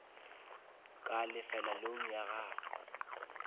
ka lefela loan ya gagwe